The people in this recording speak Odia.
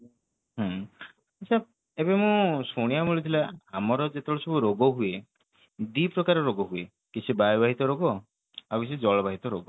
ହୁଁ ଏବେ ମୁଁ ଶୁଣିବା କୁ ମିଳୁଥିଲା ଆମର ଯେତେବେଳେ ସବୁ ରୋଗ ହୁଏ ଦି ପ୍ରକାର ରୋଗ ହୁଏ କିଛି ବାୟୁ ବାହିତ ରୋଗ କିଛି ଜଳ ବାହିତ ରୋଗ